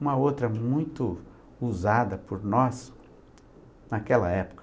Uma outra muito usada por nós naquela época.